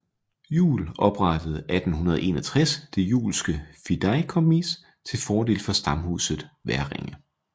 Juel oprettede 1861 Det Juelske Fideikommis til fordel for stamhuset Hverringe